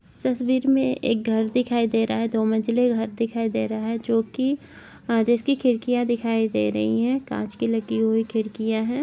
तस्वीर में एक घर दिखाई दे रहा है दो मंज़िले घर दिखाई दे रहा है जो की जिसकी खिड़कियां दिखाई दे रही है कांच की लगी हुई खिड़कियां हैं।